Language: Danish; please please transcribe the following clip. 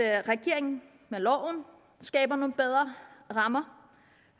at regeringen med loven skaber nogle bedre rammer